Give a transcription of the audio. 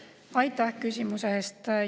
Aitäh küsimuse eest!